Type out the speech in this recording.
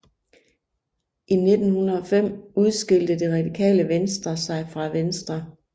I 1905 udskilte Det Radikale Venstre sig fra Venstre